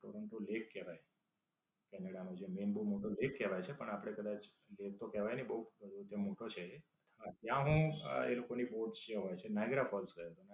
કારણ કે જે લેક કેવાય. કેનેડા નો જે મેઈન બવ મોટો લેક કેવાય છે પણ આપડે કદાચ એમ તો કહેવાય નઈ કે બવ મોટો છે એ. પણ ત્યાં હું એ લોક ની bots જે હોય છે નાઇગેરા ફોલ્સ છે.